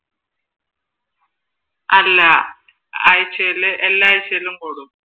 അല്ല ആഴ്ചയിൽ എല്ലാ ആഴ്ചയും കൂടും